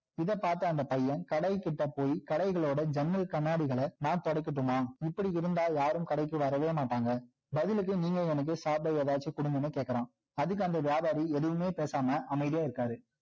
இதை பார்த்த அந்த பையன் கடைகிட்ட போய் கடைகளோட ஜன்னல் கண்ணாடிகள நான் துடைக்கட்டுமா இப்படி இருந்தா யாரும் வரவே மாட்டாங்க பதிலுக்கு நீங்க எனக்கு சாப்பிட ஏதாவது கொடுங்கண்ணு கேட்கிறான் அதுக்கு அந்த வியாபாரி எதுவுமே பேசாம அமைதியா இருக்காரு